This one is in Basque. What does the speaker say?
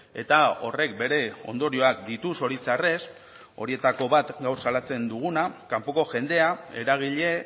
eta horrek bere ondorioak ditu zoritxarrez horietako bat gau salatzen duguna kanpoko jendea eragile